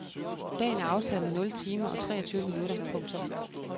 Dagen er aftaget med nul timer og treogtyve minutter. punktum